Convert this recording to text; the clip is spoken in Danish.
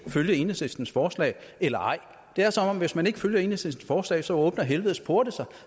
følge enhedslistens forslag eller ej det er som om hvis man ikke følger enhedslistens forslag så åbner helvedes porte sig